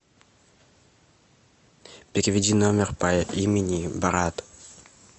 переведи номер по имени брат